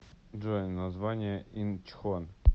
джой название инчхон